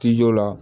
Tijo la